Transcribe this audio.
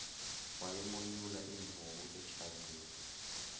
wayimonyula imvubu ejazini